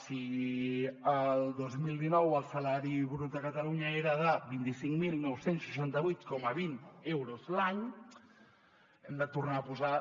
si el dos mil dinou el salari brut a catalunya era de vint cinc mil nou cents i seixanta vuit coma vint euros l’any hem de tornar a posar